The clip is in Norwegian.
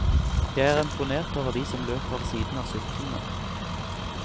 Jeg er imponert over de som løper ved siden av syklene.